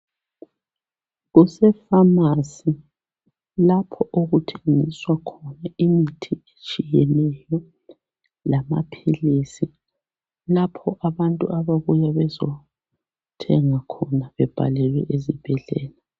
Kusepharmacy. Lapho okuthengiswa khona imithi etshiyeneyo, lamaphilisi. Lapho abantu ababuya bezothenga khona bebhalelwe ezibhedlela.